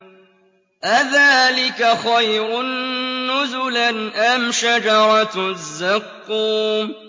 أَذَٰلِكَ خَيْرٌ نُّزُلًا أَمْ شَجَرَةُ الزَّقُّومِ